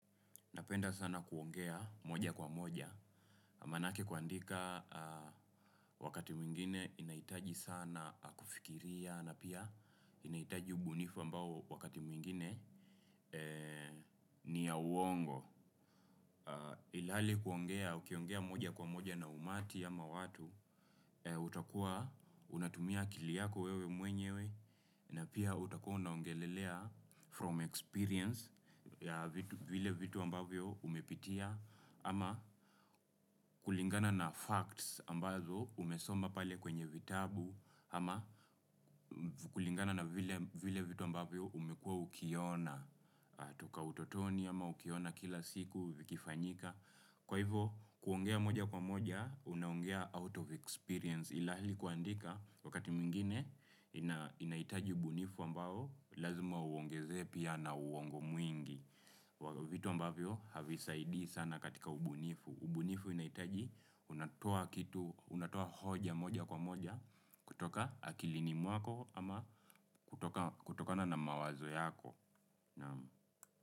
Napenda sana kuongea moja kwa moja, manake kuandika wakati mwingine inahitaji sana kufikiria, na pia inahitaji ubunifu ambao wakati mwingine ni ya uongo. Ilhali kuongea, ukiongea moja kwa moja na umati ama watu, utakuwa unatumia akili yako wewe mwenyewe, na pia utakuwa unaongelelea from experience ya vile vitu ambavyo umepitia ama kulingana na facts ambazo umesoma pale kwenye vitabu ama kulingana na vile vitu ambavyo umekuwa ukiona toka utotoni ama ukiona kila siku vikifanyika kwa hivo kuongea moja kwa moja unaongea out of experience ilhali kuandika wakati mwingine inahitaji ubunifu ambao lazima uongezee pia na uongo mwingi vitu ambavyo havisaidi sana katika ubunifu ubunifu inahitaji unatoa kitu unatoa hoja moja kwa moja kutoka akilini mwako ama kutoka kutokana na mawazo yako naam.